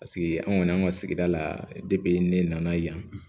Paseke an kɔni an ka sigida la ne nana yan